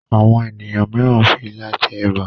Àwọn ènìyàn míràn fí ìlà jé èbá.